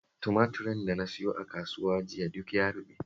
Tumaturin da na sayo a kasuwa jiya duk ya ruɓe